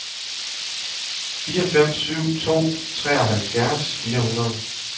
fire fem syv to treoghalvfjerds fire hundrede